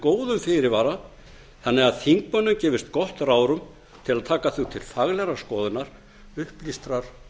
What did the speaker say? góðum fyrirvara þannig að þingmönnum gefist gott ráðrúm til að taka þau til faglegrar skoðunar upplýstrar